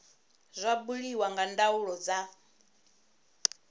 zwa buliwa nga ndaulo dza